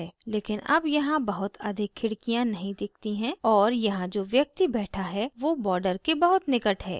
लेकिन अब यहाँ बहुत अधिक खिड़कियाँ नहीं दिखती हैं और यहाँ जो व्यक्ति बैठा है वो border के बहुत निकट है